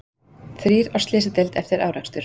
Þrír á slysadeild eftir árekstur